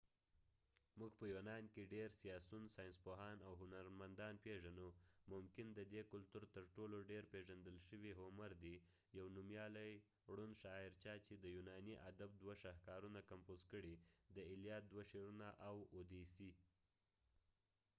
موږ په یونان کې ډیر سیاسیون ، ساینسپوهان او هنرمندان پیژنو .ممکن ددې کلتور تر ټولو ډیر پیژندل شوي هومر homer دي . یو نومیالی ړوند شاعرچا چې د یونانی ادب دوه شاهکارونه کمپوز کړي : د الیاد elliad او اوديسی odyssey دوه شعرونه